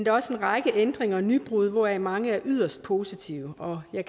er også en række ændringer og nybrud hvoraf mange er yderst positive og jeg